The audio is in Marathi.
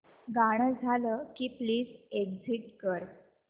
गाणं झालं की प्लीज एग्झिट कर